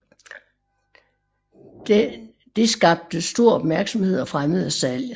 Dette skabte stor opmærksomhed og fremmede salget